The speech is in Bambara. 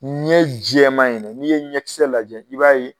Ɲɛ jɛman in ne n'i ye ɲɛ kisɛ lajɛ i b'a ye